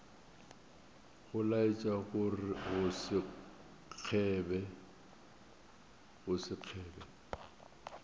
go laetša go se kgebe